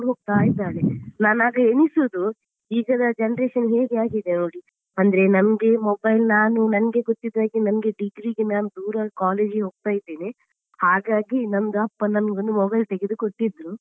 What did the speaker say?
ಹೋಗ್ತಾ ಇದ್ದಾಳೆ ನಾನು ಆಗ ಎನಿಸುವುದು ಈಗಿನ generation ಹೇಗೆ ಆಗಿದೆ ನೋಡಿ, ಅಂದ್ರೆ ನಮ್ಗೆ mobile ನಾನು ನಂಗೆ ಗೊತ್ತಿದ್ದ ಹಾಗೆ ನಂಗೆ degree ಗೆ ನಾನು ದೂರದ college ಗೆ ಹೋಗ್ತಾ ಇದ್ದೇನೆ ಹಾಗಾಗಿ ನಂದು ಅಪ್ಪ ನನ್ಗೊಂದು mobile ತೆಗೆದು ಕೊಟ್ಟಿದ್ರು.